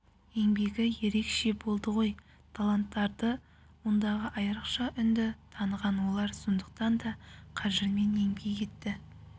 еңбегі ерекше болды ғой таланттарды ондағы айырықша үнді таныған олар сондықтан да қажырмен еңбек етті